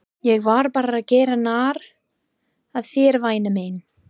Ég var bara að gera narr að þér væna mín.